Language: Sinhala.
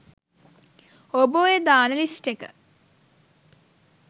ඔබ ඔය දාන ලිස්ට් එක